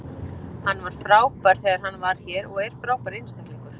Hann var frábær þegar hann var hér og er frábær einstaklingur.